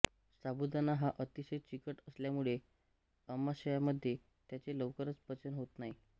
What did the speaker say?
साबुदाणा हा अतिशय चिकट असल्यामुळे आमाशयामध्ये त्याचे लवकर पचन होत नाही